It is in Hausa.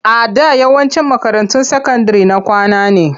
A da yawancin makarantun sakandire na kwana ne.